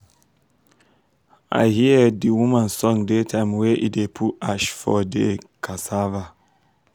i hear da woman song da time wey e da put ash for de um cassava